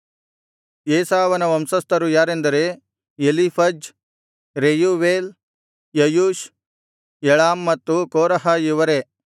ಏಸಾವನ ವಂಶಸ್ಥರು ಯಾರೆಂದರೆ Eliphaz Reuel Jeush Jalam ಮತ್ತು ಕೋರಹ ಇವರೇ